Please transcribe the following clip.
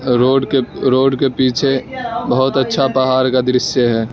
Road के पीछे बहुत अच्छा पहाड़ का दृश्य है।